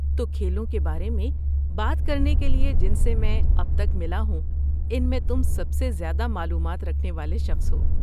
تو، کھیلوں کے بارے میں بات کرنے کے لیے، جن سے میں اب تک ملا ہوں ان میں تم سب سے زیادہ معلومات رکھنے والے شخص ہو۔